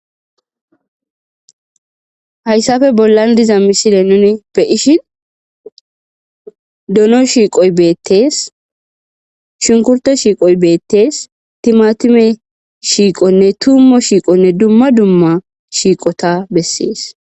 hayssafe bollan diza misile nune be ishin dono shiiqoy beettees shunkurte shiiqoy beettees timatume shiiqonne tummo shiiqonne dumma dumma shiiqota bessees